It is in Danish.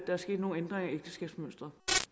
er sket nogle ændringer i ægteskabsmønsteret